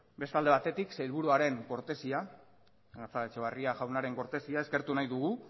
beste alde batetik sailburuaren kortesia gatzagaetxebarria jaunaren kortesia eskertu nahi dugu